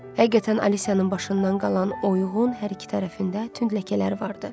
Həqiqətən, Aliciyanın başından qalan oyuğun hər iki tərəfində tünd ləkələri vardı.